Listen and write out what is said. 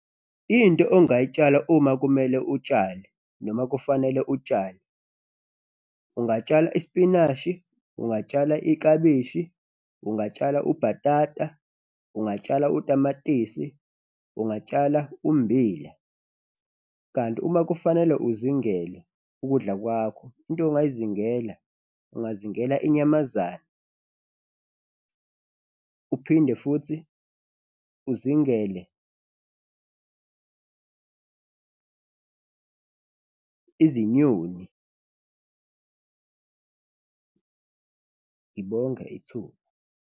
Into ongayitshala uma kumele utshale noma kufanele utshale, ungatshala ispinashi, ungatshala iklabishi, ungatshala ubhatata, ungatshala utamatisi, ungatshala ummbila. Kanti uma kufanele uzingele ukudla kwakho, into ongayizingela, ungazingela inyamazane uphinde futhi uzingele izinyoni. Ngibonge ithuba.